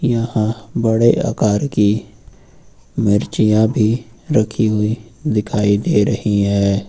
यहां बड़े आकार की मिर्चियाँ भी रखी हुई दिखाई दे रही है।